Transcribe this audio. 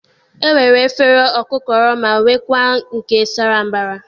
E nwere afere okukoro, ma nwekwaa nke sara mbara.